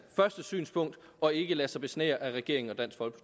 første synspunkt og ikke lade sig besnære af regeringen